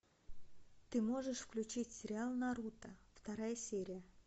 ты можешь включить сериал наруто вторая серия